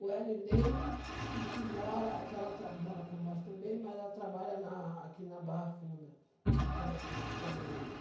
O Elineide, e que mora que ela traba mora com nós também, mas ela trabalha na aqui na Barra Funda, de telefone, de telemarketing